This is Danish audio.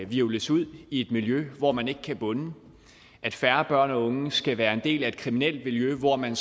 hvirvles ud i et miljø hvor man ikke kan bunde at færre børn og unge skal være en del af et kriminelt miljø hvor man